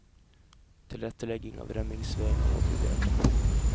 Tilrettelegging av rømningsveiene må bli bedre.